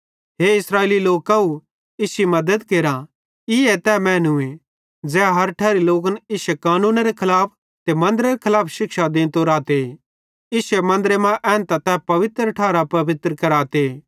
हे इस्राएली लोकव इश्शी मद्दत केरा ईए तै मैनूए ज़ै हर ठैरी लोकन इश्शे कानूनेरे खलाफ ते मन्दरेरे खलाफ शिक्षा देंतो रहते ते एनी एसेरां अलावा गैर कौमां केरे लोक इश्शे मन्दरे मां एन्तां तै पवित्र ठार अपवित्र कराते